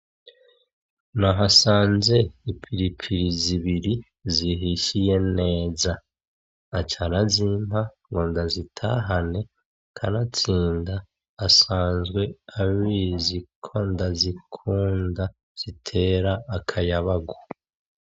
Nahasanze ipiripiri zibiri zihishiye neza. Aca arazimpa ngo ndazitahane, kanatsinda asanzwe abizi ko ndazikunda, zitera akayabagu.